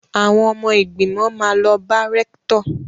Àwọn ọmọ ìgbìmọ̀ máa lọ bá rẹ́ktọ̀.